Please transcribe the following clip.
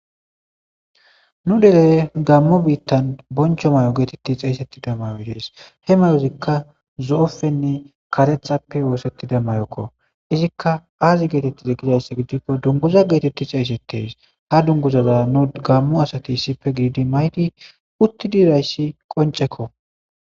Nu deley gammo biittan boncho may7o geetetti xeeysetti demmayotees he mayozikka zo7opfenne katethappe woosetti demmayokko izikka aazi geetettize gidayss gidikko dunguza geetetti xeeysettees ha dunguzaza nu gammu asati isife gididi maydi utti dirayssi qoncekko.